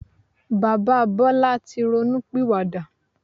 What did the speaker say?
Bàbá Bọlá tí ronú pìwà dà.